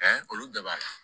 olu bɛɛ b'a la